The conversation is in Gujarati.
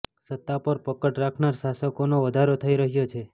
સત્તા પર પકડ રાખનાર શાસકોનો વધારો થઈ રહ્યો છે